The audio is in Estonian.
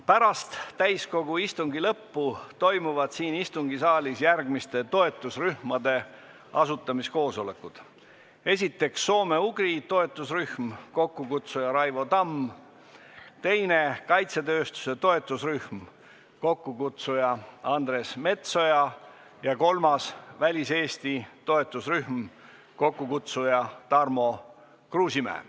Pärast täiskogu istungi lõppu toimuvad siin istungisaalis järgmiste toetusrühmade asutamiskoosolekud: esiteks, soome-ugri toetusrühm, mille kokkukutsuja on Raivo Tamm, teiseks, kaitsetööstuse toetusrühm, mille kokkukutsuja on Andres Metsoja, kolmandaks, Välis-Eesti toetusrühm, mille kokkukutsuja on Tarmo Kruusimäe.